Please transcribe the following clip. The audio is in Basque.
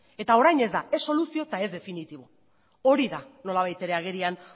eta orain ez da ez soluzio eta ez definitibo hori da nolabait ere agerian